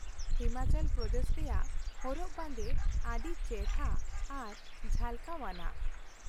ᱦᱤᱢᱟᱪᱚᱞ ᱯᱨᱚᱫᱮᱥ ᱨᱮᱭᱟᱜ ᱦᱚᱨᱚᱜ ᱵᱟᱸᱫᱮ ᱟᱹᱰᱤ ᱪᱮᱦᱨᱟ ᱟᱨ ᱡᱷᱟᱞᱠᱟᱣ ᱟᱱᱟᱜ ᱾